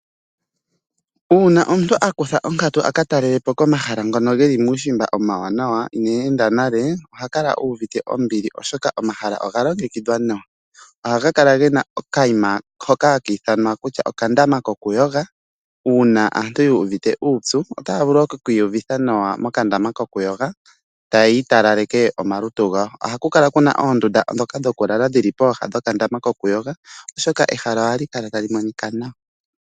Uuna omuntu akutha onkatu aka talelapo komahala ngono geli muushimba omawanawa ineenda nale oha kala uuvite ombili oshoka omahala oga longekidhwa nawa. Ohaga kala gena okayima hoka haka ithanwa kutya okandama kokuyoga uuna aantu yuuvite uupyu itaya vulu oku kiiyuvitha nawa mokandama kokuyoga taya talaleke omalutu gawo. Ohaku kala kuna oondunda ndhoka dhokulala dhili pooha dhokandama kokuyoga, oshoka ehala ohali kala tali monika nawa.